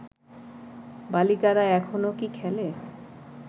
বালিকারা এখনও কি খেলে